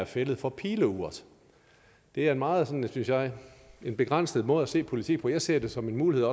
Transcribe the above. fælled for pileurt det er en meget synes jeg jeg begrænset måde at se politik på jeg ser det som en mulighed